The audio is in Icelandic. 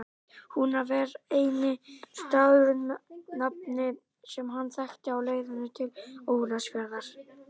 Húnaver var eini staðurinn með nafni sem hann þekkti á leiðinni til Ólafsfjarðar.